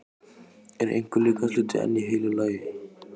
Var einhver líkamshluti enn í heilu lagi?